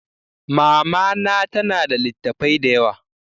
Mama na ta na da littafai da yawa